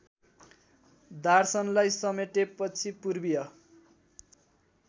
दार्शनलाई समेटेपछि पूर्वीय